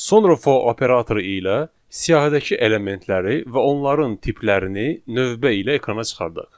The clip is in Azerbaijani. Sonra for operatoru ilə siyahıdakı elementləri və onların tiplərini növbə ilə ekrana çıxardaq.